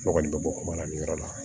Ne kɔni bɛ bɔ kuma la nin yɔrɔ la